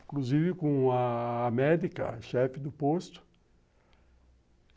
Inclusive com a amédica, chefe do posto.